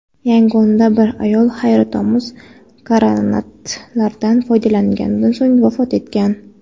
Yangonda bir ayol hayratomuz granatalardan foydalanilgandan so‘ng vafot etgan.